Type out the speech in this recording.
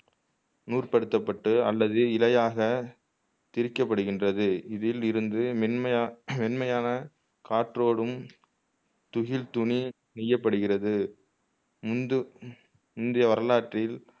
நூர்படுத்தப்பட்டு அல்லது இழையாக பிரிக்கப்படுகின்றது இதிலிருந்து மென்மை மென்மையான காற்றோடும் துகில் துணி நெய்யப் படுகிறது இந்து இன்றைய வரலாற்றில்